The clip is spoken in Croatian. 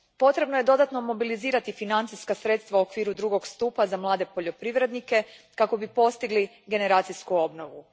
Potrebno je dodatno mobilizirati financijska sredstva u okviru drugog stupa za mlade poljoprivrednike kako bi postigli generacijsku obnovu.